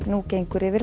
gengur yfir